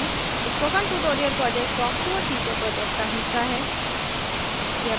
spoken tutorial project talktoa teacher project का हिस्सा है